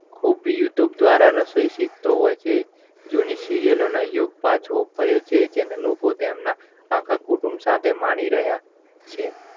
ખૂબ youtub દ્વારા રસોઈ સિખતો હોય છે. જૂની serial યુગ પાછો ફર્યો છે તેને લોકો તેમના આખા કુટુંબ સાથે માણી રહ્યાં છે.